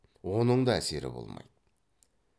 оның да әсері болмайды